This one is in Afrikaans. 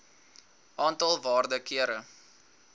aantal waarde kere